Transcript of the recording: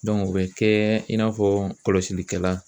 o bɛ kɛ in n'a fɔ kɔlɔsilikɛla.